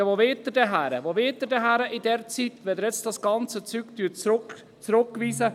Ja, wohin wollen Sie denn gehen, wenn Sie das Geschäft hier zurückweisen?